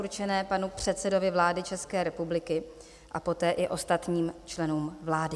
určené panu předsedovi vlády České republiky a poté i ostatním členům vlády.